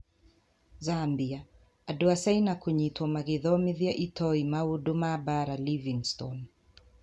Zambia: Andũ a China kũnyitwo magĩthomithia itoi maũndũ ma mbaara Livingstone.